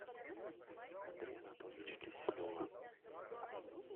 андрея анатольевича киселева